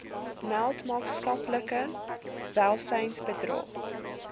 meld maatskaplike welsynsbedrog